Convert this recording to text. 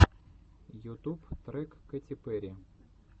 ютуб трек кэти перри